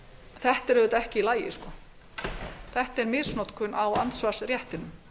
er auðvitað ekki í lagi það er misnotkun á andsvarsréttinum það